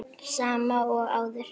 Sama og áður.